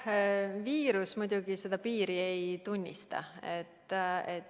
Viirus muidugi seda piiri ei tunnista.